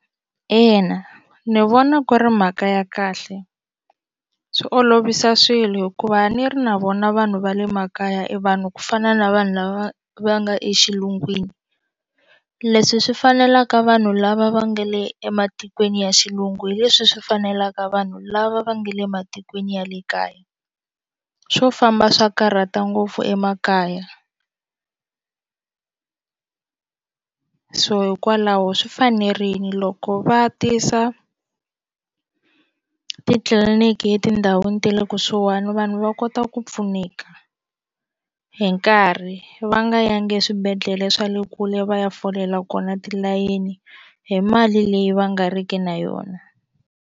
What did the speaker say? Ina ni vona ku ri mhaka ya kahle swi olovisa swilo hikuva a ni ri na vona vanhu va le makaya i vanhu ku fana na vanhu lava va nga exilungwini leswi swi fanelaka vanhu lava va nga le ematikweni ya xilungu hi leswi swi fanelaka vanhu lava va nga le matikweni ya le kaya swo famba swa karhata ngopfu emakaya so hikwalaho swi fanerile loko va tisa titliliniki etindhawini ta le kusuhani vanhu va kota ku ku pfuneka hi nkarhi va nga yangi eswibedhlele swa le kule va ya folela kona tilayini hi mali leyi va nga riki na yona.